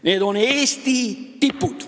Need on Eesti tipud.